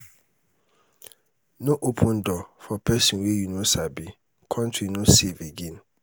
no open door for pesin wey you no sabi country no safe again